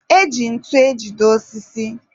e ji ntu ejide osisi.